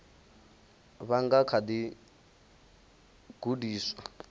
vha nga kha ḓi gudiswa